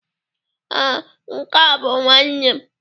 Ee, nke a bụ nwa m.